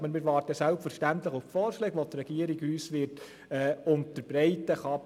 Aber wir warten selbstverständlich auf die Vorschläge, welche die Regierung uns unterbreiten wird.